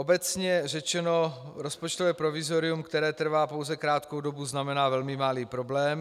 Obecně řečeno, rozpočtové provizorium, které trvá pouze krátkou dobu, znamená velmi malý problém.